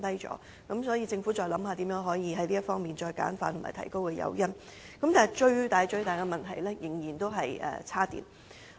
所以，政府應該思考如何簡化政策、提高誘因，但當中最大的問題仍然是充電設施。